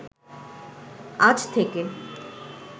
আজ থেকে